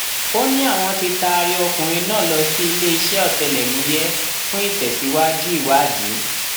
ó ní àwọn tí taari ọkùnrin náà lọ sí iléeṣẹ ọtẹlẹmúyẹ fún ìtẹsíwájú ìwádìí